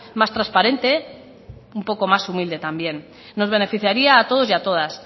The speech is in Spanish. más transparente un poco más humilde también nos beneficiaría a todos y a todas